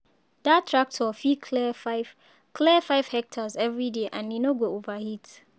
that tractor fit clear five clear five hectares every day and e no go overheat